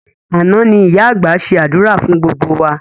Àná ni ìyá àgbà ṣe àdúrà fún gbogbo wa